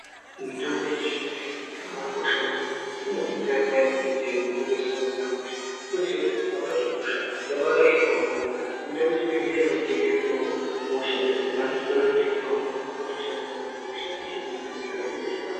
Mitombo yechizvino zvino yakabakosha maningi inodetsera peyani zvirwere zvinonga zvisina kumira mushe unotodziya kuti ukaona kuti hosha yabata zvakaomarara unoenda kuchibhedhlera wotenge mutombo woshandisa kana kuzvitoro zvinotengese mitombo wotoshandisa kuti hosha izvinenge zviro zviite zvakanaka.